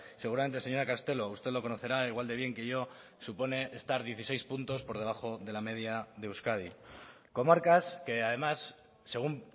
seguramente señora castelo usted lo conocerá igual de bien que yo supone estar dieciséis puntos por debajo de la media de euskadi comarcas que además según